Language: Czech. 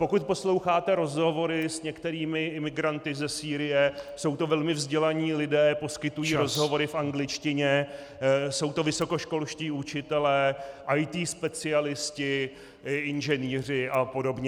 Pokud posloucháte rozhovory s některými imigranty ze Sýrie, jsou to velmi vzdělaní lidé, poskytují rozhovory v angličtině , jsou to vysokoškolští učitelé, IT specialisté, inženýři a podobně.